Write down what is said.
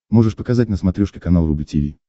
можешь показать на смотрешке канал рубль ти ви